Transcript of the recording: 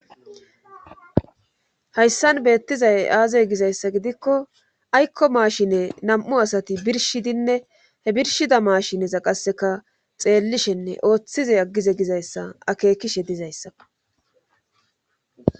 Hayssan beettizay aazey gizayssa gidikko aykko maashine nam7u asati birshidinne he birshida maashineza qasseka xeellishenne ooththize aggize gizayssa akeekishe dizayssako.